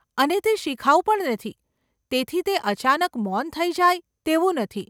અને તે શિખાઉ પણ નથી, તેથી તે અચાનક મૌન થઈ જાય તેવું નથી.